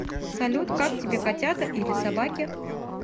салют как тебе котята или собаки